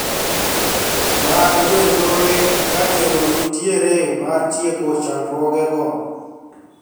Mag jonjore ka geno nitiere mar tieko chandruogego